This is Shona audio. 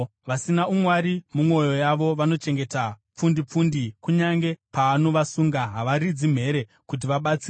“Vasina umwari mumwoyo yavo vanochengeta pfundipfundi, kunyange paanovasunga, havaridzi mhere kuti vabatsirwe.